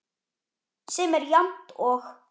sem er jafnt og